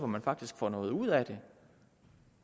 man faktisk får noget ud af det